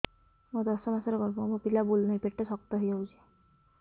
ମୋର ଦଶ ମାସର ଗର୍ଭ ମୋ ପିଲା ବୁଲୁ ନାହିଁ ପେଟ ଶକ୍ତ ହେଇଯାଉଛି